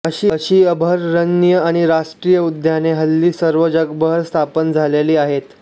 अशी अभयारण्ये आणि राष्ट्रीय उद्याने ह्ल्ली सर्व जगभर स्थापन झालेली आहेत